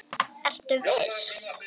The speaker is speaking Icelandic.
Ertu viss?